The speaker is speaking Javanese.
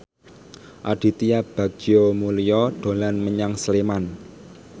Aditya Bagja Mulyana dolan menyang Sleman